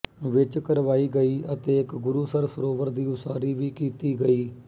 ਵਿੱਚ ਕਰਵਾਈ ਗਈ ਅਤੇ ਇੱਕ ਗੁਰੂਸਰ ਸਰੋਵਰ ਦੀ ਉਸਾਰੀ ਵੀ ਕੀਤੀ ਗਈ